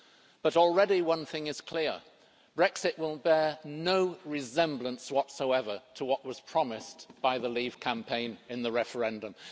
But already one thing is clear Brexit will bear no resemblance whatsoever to what was promised by the Leave Campaign in the referendum.